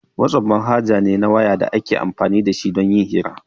WhatsApp manhaja ne na waya da ake amfani da shi don yin hira